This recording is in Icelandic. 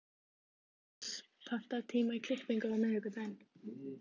Kris, pantaðu tíma í klippingu á miðvikudaginn.